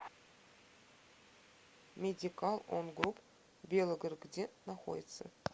медикал он груп белгород где находится